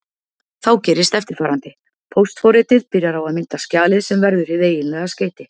Þá gerist eftirfarandi: Póstforritið byrjar á að mynda skjalið sem verður hið eiginlega skeyti.